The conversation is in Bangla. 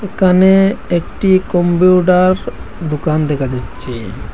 ওকানে একটি কম্পিউটার দোকান দেখা যাচ্চে।